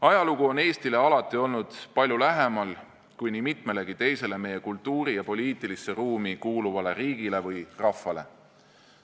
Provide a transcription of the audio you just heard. Ajalugu on Eestile alati olnud palju lähemal kui nii mitmelegi teisele meie kultuuri- ja poliitilisse ruumi kuuluvale riigile või rahvale.